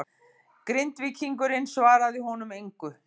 Grindvíkingurinn svaraði honum engu.